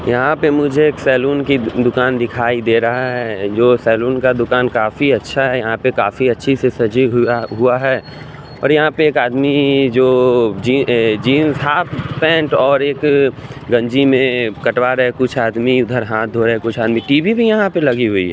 यहां पे मुझे एक सैलून की दुकान दिखाई दे रहा है जो सैलून का दुकान काफी अच्छा है यहां पे काफी अच्छी से सजी हुआ हुआ है और यहां पर एक आदमी जो जींस ये जींस हॉफ पैंट और एक गंजी में कटवा रहे हैं कुछ आदमी उधर हाथ धोए हैं कुछ आदमी टी_वी भी यहां पे लगी हुई है।